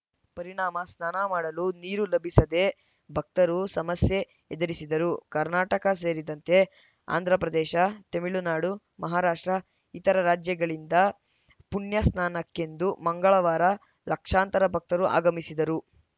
ಪರಿಣಾಮ ಸ್ನಾನ ಮಾಡಲು ನೀರು ಲಭಿಸದೆ ಭಕ್ತರು ಸಮಸ್ಯೆ ಎದುರಿಸಿದರು ಕರ್ನಾಟಕ ಸೇರಿದಂತೆ ಆಂಧ್ರಪ್ರದೇಶ ತಮಿಳುನಾಡು ಮಹಾರಾಷ್ಟ್ರ ಇತರ ರಾಜ್ಯಗಳಿಂದ ಪುಣ್ಯಸ್ನಾನಕ್ಕೆಂದು ಮಂಗಳವಾರ ಲಕ್ಷಾಂತರ ಭಕ್ತರು ಆಗಮಿಸಿದ್ದರು